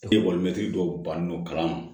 dɔw ban n'o kala ma